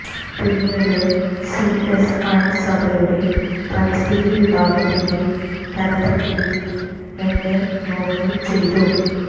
പിന്നീട് സിഎസ്ഐ സഭയുടെ പരിസ്ഥിതി വിഭാഗത്തിന്റെ തലപ്പത്തേക്ക് എന്നെ നോമിനേറ്റ് ചെയ്തു